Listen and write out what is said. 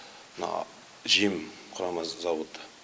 мына жем құрама зауыты